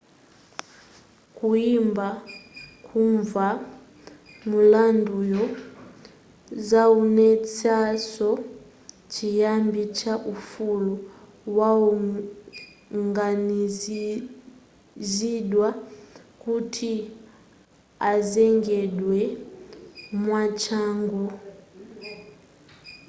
kuyamba kumva mulanduyu zaonetsaso chiyambi cha ufulu wawoganiziridwa kuti azengedwe mwachangu